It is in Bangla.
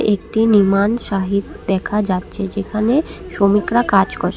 একটি নির্মাণ সাহিট দেখা যাচ্ছে যেখানে শ্রমিকরা কাজ করছে।